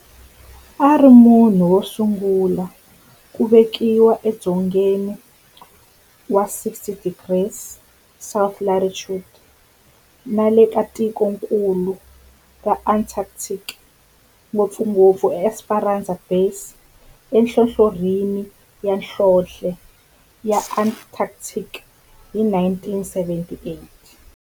A ri munhu wosungula ku velekiwa edzongeni wa 60 degrees south latitude nale ka tikonkulu ra Antarctic, ngopfungopfu eEsperanza Base enhlohlorhini ya nhlonhle ya Antarctic hi 1978.